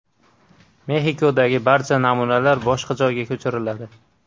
Mexikodagi barcha namunalar boshqa joyga ko‘chiriladi.